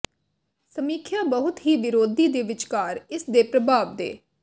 ਸਮੀਖਿਆ ਬਹੁਤ ਹੀ ਵਿਰੋਧੀ ਦੇ ਵਿਚਕਾਰ ਇਸ ਦੇ ਪ੍ਰਭਾਵ ਦੇ